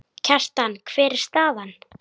Kjartan, hver er staðan?